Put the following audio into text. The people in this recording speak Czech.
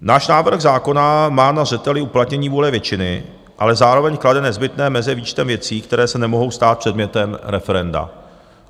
Náš návrh zákona má na zřeteli uplatnění vůle většiny, ale zároveň klade nezbytné meze výčtem věcí, které se nemohou stát předmětem referenda.